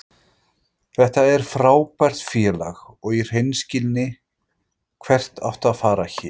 Þetta er frábært félag og í hreinskilni, hvert áttu að fara héðan?